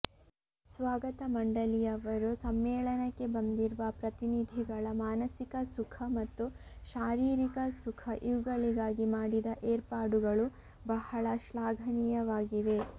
ಸ್ವಾಗತಮಂಡಲಿಯವರು ಸಮ್ಮೇಳನಕ್ಕೆ ಬಂದಿರುವ ಪ್ರತಿನಿಧಿಗಳ ಮಾನಸಿಕ ಸುಖ ಮತ್ತು ಶಾರೀರಿಕ ಸುಖ ಇವುಗಳಿಗಾಗಿ ಮಾಡಿದ ಏರ್ಪಾಡುಗಳು ಬಹಳ ಶ್ಲಾಘನೀಯವಾಗಿವೆ